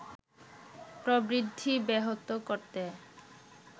প্রবৃদ্ধি ব্যাহত করতে